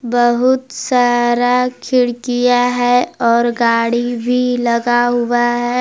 बहुत सारा खिड़कियां है और गाड़ी भी लगा हुआ है।